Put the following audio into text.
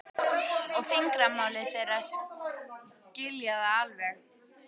og fingramálið, þeir skilja það alveg.